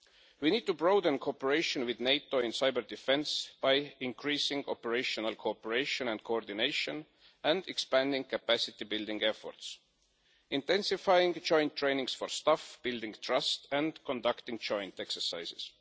We need to broaden cooperation with NATO in cyber-defence by increasing operational cooperation and coordination and expanding capacity building efforts, intensifying joint training for staff, building trust and conducting joint exercises.